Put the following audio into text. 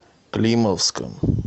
климовском